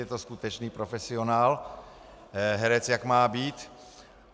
Je to skutečný profesionál, herec jak má být.